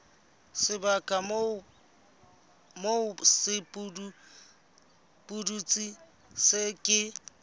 sebaka moo sepudutsi se ke